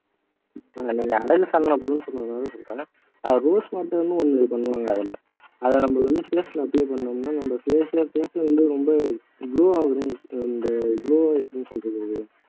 rose water ன்னு ஒன்னு பண்ணுவாங்க அதுல அதை நம்ம ல apply பண்ணினோம்னா நம்ம face ல face ல வந்து ரொம்ப glow ஆயிறும் and glow ஐ எப்படி சொல்றது அது